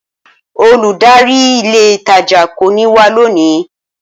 Olùdarí ilé ìtajà kò ní wá lónìí